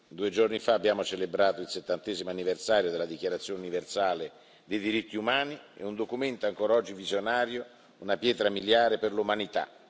Due giorni fa abbiamo celebrato il settantesimo anniversario della Dichiarazione universale dei diritti umani è un documento ancor oggi visionario, una pietra miliare per l'umanità.